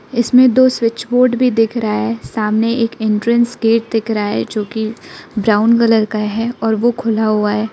इसमें दो switch board भी दिख रहा है सामने एक एंट्रेंस गेट दिख रहा है जो कि ब्राउन कलर का है और वो खुला हुआ है।